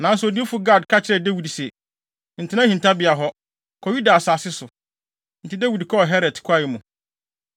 Nanso odiyifo Gad ka kyerɛɛ Dawid se, “Ntena hintabea hɔ. Kɔ Yuda asase so.” Enti Dawid kɔɔ Heret kwae mu.